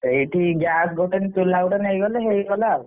ସେଇଠି gas ଗୋଟେ ଚୁଲା ଗୋଟେ ନେଇଗଲେ ହେଇଗଲା ଆଉ।